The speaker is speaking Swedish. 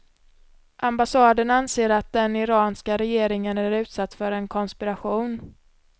Ambassaden anser att den iranska regeringen är utsatt för en konspiration.